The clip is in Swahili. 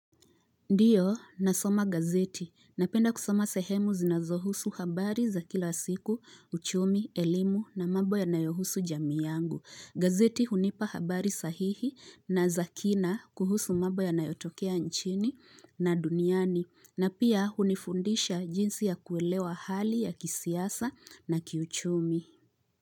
Ndiyo, nasoma gazeti. Napenda kusoma sehemu zinazohusu habari za kila siku, uchumi, elimu na mambo yanayohusu jamii yangu. Gazeti hunipa habari sahihi na za kina kuhusu mambo yanayotokea nchini na duniani. Na pia hunifundisha jinsi ya kuelewa hali ya kisiasa na kiuchumi.